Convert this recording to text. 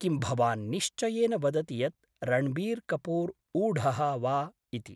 किं भवान् निश्चयेन वदति यत् रण्बीर् कपूर् ऊढः वा इति?